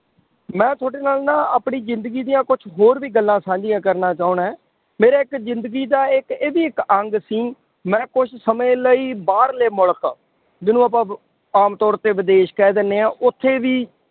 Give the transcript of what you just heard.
ਮੈਂ ਤੁਹਾਡੇ ਨਾਲ ਨਾ ਆਪਣੀ ਜ਼ਿੰਦਗੀ ਦੀਆਂ ਕੁਛ ਹੋਰ ਵੀ ਗੱਲਾਂ ਸਾਂਝੀਆਂ ਕਰਨਾ ਚਾਹੁਨਾ ਹੈਂ, ਮੇਰੇ ਇੱਕ ਜ਼ਿੰਦਗੀ ਦਾ ਇੱਕ ਇਹ ਵੀ ਇੱਕ ਅੰਗ ਸੀ, ਮੈਂ ਕੁਛ ਸਮੇਂ ਲਈ ਬਾਹਰਲੇ ਮੁਲਕ ਜਿਹਨੂੰ ਆਪਾਂ ਆਮ ਤੌਰ ਤੇ ਵਿਦੇਸ਼ ਕਹਿ ਦਿੰਦੇ ਹਾਂ, ਉੱਥੇ ਵੀ